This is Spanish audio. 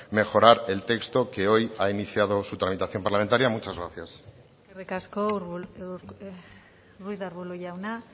mejorar el texto que hoy ha iniciado su tramitación parlamentaria muchas gracias eskerrik asko ruiz de arbulo jauna